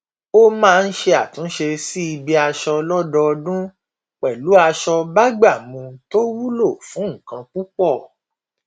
ó máa ń ṣe àtúnṣe sí ibi aṣọ lọdọọdún pẹlú aṣọ bágbàmú tó wúlò fún nǹkan púpọ